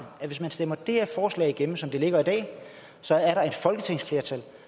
at hvis man stemmer det her forslag igennem som det ligger i dag så er der et folketingsflertal